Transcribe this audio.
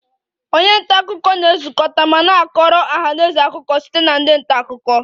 Onye nta akụkọ na-ezukọta ma na-akọrọ ọha na eze akụkọ site na ndị nta akụkọ